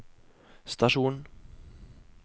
stasjon